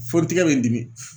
Fo n tigɛ be n dimi